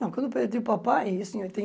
Não, quando eu perdi o papai, isso em